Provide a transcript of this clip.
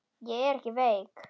Ég er ekki veik.